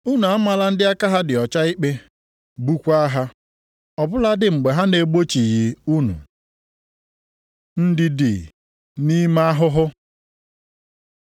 Unu amala ndị aka ha dị ọcha ikpe, gbukwaa ha, ọ bụladị mgbe ha na-egbochighị unu. Ndidi nʼime ahụhụ